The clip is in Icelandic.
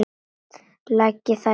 Leggið þær á rakan disk.